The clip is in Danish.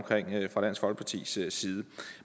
fra dansk folkepartis side